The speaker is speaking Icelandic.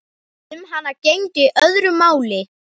Um hana gegndi öðru máli.